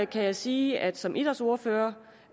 kan jeg sige at jeg som idrætsordfører